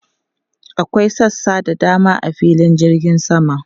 Akwai sassa da dama a filin jirgin sama.